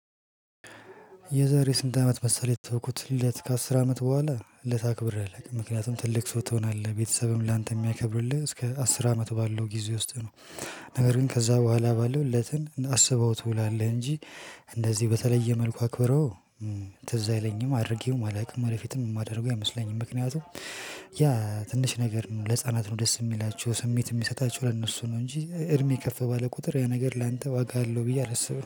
የዛሬ? ስንት አመት መሰለህ የተውኩት ልደት ከአስር አመት በኋላ ልደት አክብሬ አላቅም ምክንያቱም ትልቅ ሰው ትሆናለህ ቤተሰብም ላንተ የሚያከብርልህ እስከ አስር አመት ባለው ጊዜ ውስጥ ነው። ነገር ግን ከዛ በኋላ ባለው ልደትን አስበኸው ትውላለህ እንጂ እንደዚህ በተለየ መልኩ አክበሬው። ትዝ አይለኝም አድርጌውም አላውቅም። ወደፊትም የማደርገው አይመስለኝ ምክንያቱም ያ ትንሽ ነገር ነው ለህፃናት ነው ደስ የሚላችሁ ስሜት የሚሰጣችሁ ለእነሱ ነው እንጂ እድሜ ከፍ ባለ ቁጥር ያ ነገር ላንተ ዋጋ አለው። ብዬ አላስብም